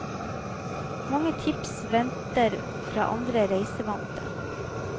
Mange tips venter fra andre reisevante.